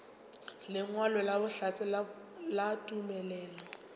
lengwalo la bohlatse la tumelelo